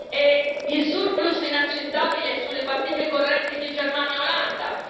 E il surplus inaccettabile sulle partite correnti di Germania e Olanda.